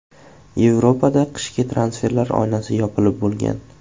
Yevropada qishki transferlar oynasi yopilib bo‘lgan.